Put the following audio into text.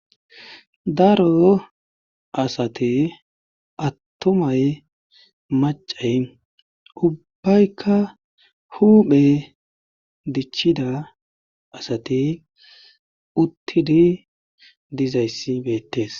Daro asate attomay macay ubbaykka huuphe dichida asate uttidi dizayssi beettes